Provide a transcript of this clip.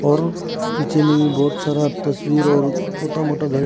और पीछे में भी बहोत सारा तस्वीर और छोटा मोटा घर--